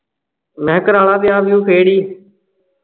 ਮੈਂ ਕਰਾ ਲੈ ਵਿਆਹ ਵਿਅੂ ਫੇਰ ਈ